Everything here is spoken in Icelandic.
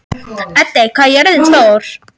Eddi, hvað er jörðin stór?